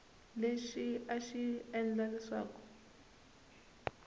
lexi a xi endla leswaku